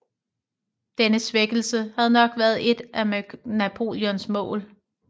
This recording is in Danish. Denne svækkelse havde nok været et af Napoleons mål